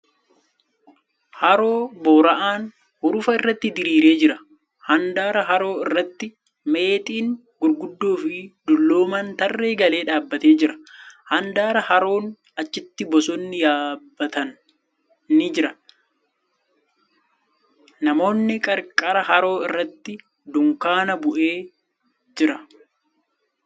Haroo boora'aan hurufa irratti diriiree jira. Handaara haroo irratti meexxiin gurguddoo fi dulloomaan tarree galee dhaabbatee jira. Handaara haroon achitti bosonni yabbataan ni jira. Namoonni qarqara haroo irratti dukkaanni bu'ee jira.